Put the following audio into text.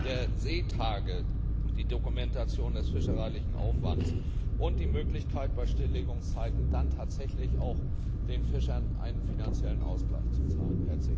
der Seetage, die Dokumentation des fischereilichen Aufwands und die Möglichkeit, bei Stilllegungszeiten dann tatsächlich auch den Fischern einen finanziellen Ausgleich zu zahlen.